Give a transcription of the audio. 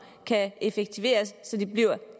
kan effektiviseres så der bliver